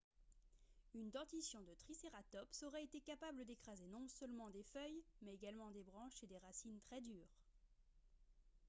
une dentition de tricératops aurait été capable d'écraser non seulement des feuilles mais également des branches et des racines très dures